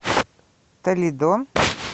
толидо